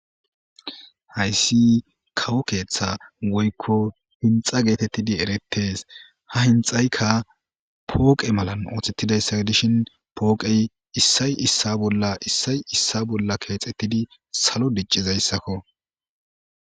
Haysi kawo ketha woyko hinxa getetidi eretese ha hinxaykka poqe mala othesetidaysa gidishin poqey issay issa bolla Kexetidi salo dicizaysakko